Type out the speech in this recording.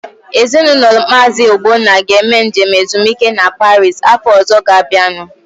Ezinaụlọ Maazi Ogbonna ga-eme njem ezumike a Paris afọ ọzọ ga-abịanu.